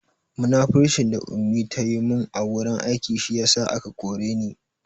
Munafurcin da Ummi ta yi mun a wurin aiki shi ya sa aka koren ni